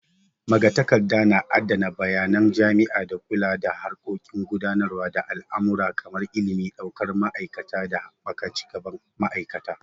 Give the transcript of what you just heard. Magatakarda na adana bayanan jami'a, da kula da harkokin gudanar da al'amura kamar ilimi, daukar ma'aikata da haɓaka cigaban ma'aikata.